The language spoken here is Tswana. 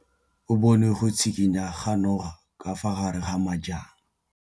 O bone go tshikinya ga noga ka fa gare ga majang.